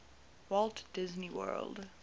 walt disney world